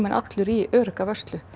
allur í örugga vörslu